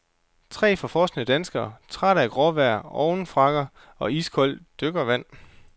Tre forfrosne danskere, trætte af gråvejr, overfrakker og iskoldt dykkervand.